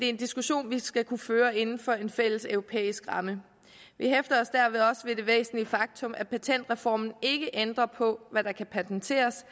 en diskussion vi skal kunne føre inden for en fælles europæisk ramme vi hæfter os derved også ved det væsentlige faktum at patentreformen ikke ændrer på hvad der kan patenteres